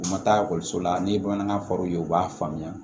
U ma taa la ni bamanankan fɔra u ye u b'a faamuya